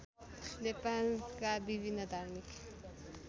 नेपालका विभिन्न धार्मिक